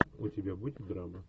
у тебя будет драма